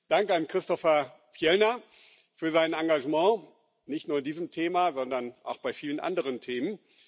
Dank an Christofer Fjellner für sein Engagement nicht nur bei diesem Thema, sondern auch bei vielen anderen Themen.